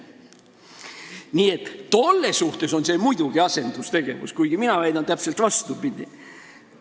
Nii et tolle suhtes on see muidugi asendustegevus, kuigi mina väidan täpselt vastupidi.